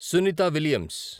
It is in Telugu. సునిత విలియమ్స్